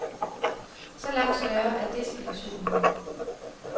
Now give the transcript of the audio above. Så langt større er desillusionen jo.